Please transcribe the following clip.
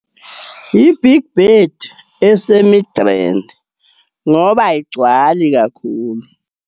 I-Big Bird, eseMidrand ngoba ayigcwali kakhulu.